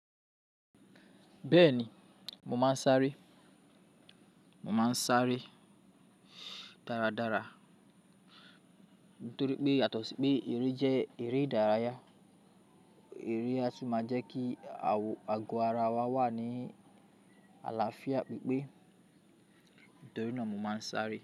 Bẹ́ẹ̀ni, mo máa ń sáré. Mo máa ń sáré dáradára nítorí pé yàtọ̀ sí pé eré jẹ́ eré ìdárayá. Eré á tún máa jẹ́ kí ago ara wa wà ní àlàáfíà pípé nítorí náà mo máa ń sáré.